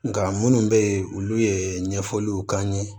Nka minnu bɛ yen olu ye ɲɛfɔliw k'an ye